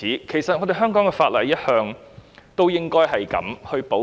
其實香港法例一向有這樣的保障。